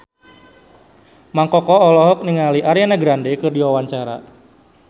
Mang Koko olohok ningali Ariana Grande keur diwawancara